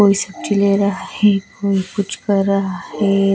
कोई सब्जी ले रहा है कोई कुछ कर रहा है.